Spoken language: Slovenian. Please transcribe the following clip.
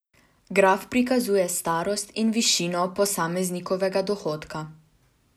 Graf prikazuje starost in višino posameznikovega dohodka.